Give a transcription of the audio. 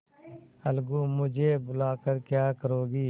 अलगूमुझे बुला कर क्या करोगी